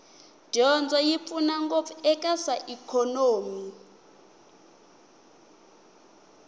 dyondzo yi pfuna ngopfu eka swa ikhonomi